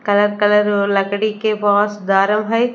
काला कलर ओ लकड़ी के बोस हई।